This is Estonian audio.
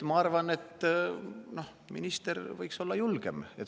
Ma arvan, et minister võiks olla julgem.